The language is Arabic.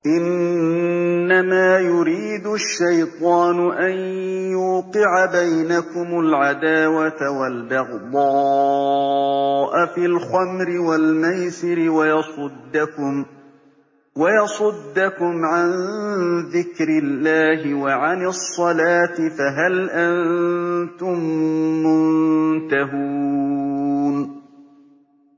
إِنَّمَا يُرِيدُ الشَّيْطَانُ أَن يُوقِعَ بَيْنَكُمُ الْعَدَاوَةَ وَالْبَغْضَاءَ فِي الْخَمْرِ وَالْمَيْسِرِ وَيَصُدَّكُمْ عَن ذِكْرِ اللَّهِ وَعَنِ الصَّلَاةِ ۖ فَهَلْ أَنتُم مُّنتَهُونَ